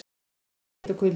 En hvað er hiti og kuldi?